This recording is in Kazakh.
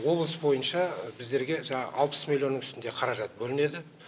облыс бойынша біздерге жаңағы алпыс миллионның үстінде қаражат бөлінеді